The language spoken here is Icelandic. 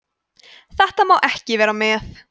þetta má ekki vera með